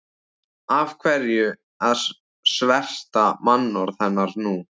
Af hverju að sverta mannorð hennar nú?